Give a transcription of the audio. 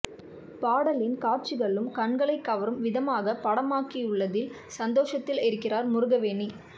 பாடலின் காட்சிகளும் கண்களை கவரும் விதமாக படமாக்கியுள்ளதில் சந்தோசத்தில் இருக்கிறார் முருகவேணி